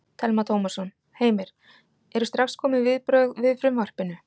Telma Tómasson: Heimir, eru strax komin viðbrögð við frumvarpinu?